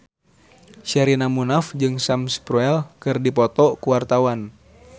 Sherina Munaf jeung Sam Spruell keur dipoto ku wartawan